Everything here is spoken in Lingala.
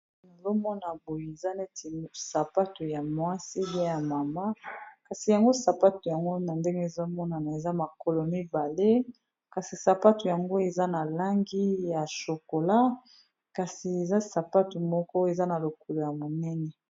Ezomona boye eza neti sapato ya mwasega ya mama kasi yango sapato yango na ndenge ezomonana eza makolo mibale kasi sapato yango eza na langi ya chokola kasi eza sapato moko eza na lokolo ya monene.